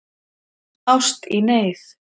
Ást í neyð